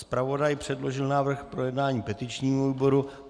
Zpravodaj předložil návrh k projednání petičnímu výboru.